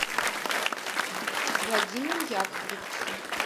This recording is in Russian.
владимиру яковлевичу